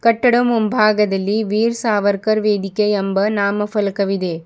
ಕಟ್ಟಡ ಮುಂಭಾಗದಲ್ಲಿ ವೀರ್ ಸಾವರ್ಕರ್ ವೇದಿಕೆ ಎಂಬ ನಾಮ ಫಲಕವಿದೆ.